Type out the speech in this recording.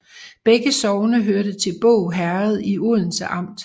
Begge sogne hørte til Båg Herred i Odense Amt